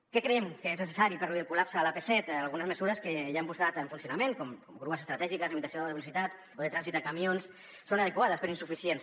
què creiem que és necessari per reduir el col·lapse a l’ap set algunes mesures que ja han posat en funcionament com grues estratègiques limitació de la velocitat o de trànsit de camions són adequades però insuficients